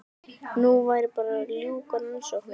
Nú væri bara að ljúka rannsókninni.